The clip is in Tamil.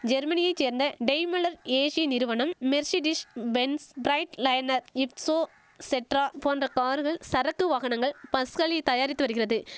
ஜெர்மனியை சேர்ந்த டெய்மலர் ஏசி நிறுவனம் மெர்சிடிஸ் பென்ஸ் ப்ரைட்லைனர் இட்சோ செட்ரா போன்ற கார்கள் சரக்கு வாகனங்கள் பஸ்களி தயாரித்து வரிகிறது